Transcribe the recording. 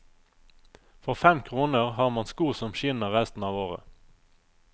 For fem kroner har man sko som skinner resten av året.